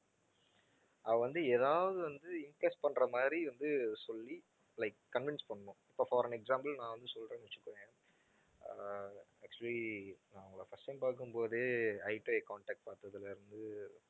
அவள் வந்து ஏதாவது வந்து பண்ற மாதிரி வந்து சொல்லி like convince பண்ணனும். இப்ப for an example நான் வந்து சொல்றேன்னு வச்சுக்கோயேன் அஹ் actually நான் உங்களை first time பார்க்கும்போது eye-to-eye contact பார்த்ததுல இருந்து